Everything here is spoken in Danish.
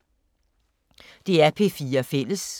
DR P4 Fælles